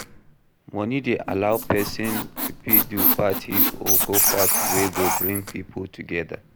Money de allow persin to fit do party or go party wey go bring pipo together